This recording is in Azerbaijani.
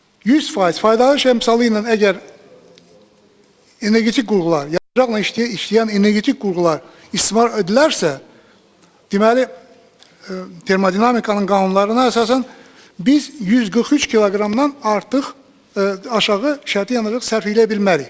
100% faydalı iş əmsalı ilə əgər energetik qurğular, yanacaqla işləyən energetik qurğular istismar edilərsə, deməli, termodinamikanın qanunlarına əsasən biz 143 kq-dan artıq aşağı şərti yanacaq sərf eləyə bilmərik.